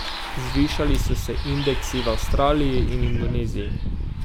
Zvišali so se indeksi v Avstraliji in Indoneziji.